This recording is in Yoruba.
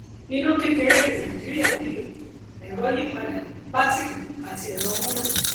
iná kékeré ní nàìjíríà nílò ẹrọ yípadà bátìrì àti ẹrọ múná